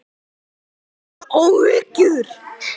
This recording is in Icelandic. Hef ég áhyggjur?